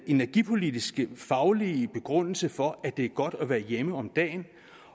energipolitiske faglige begrundelse for at det er godt at være hjemme om dagen